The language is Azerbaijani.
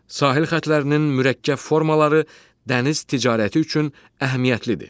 Sahil xəttlərinin mürəkkəb formaları dəniz ticarəti üçün əhəmiyyətlidir.